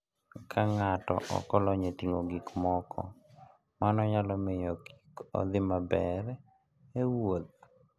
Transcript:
Ka ng'ato ok olony e ting'o gik moko, mano nyalo miyo kik odhi maber e wuoth.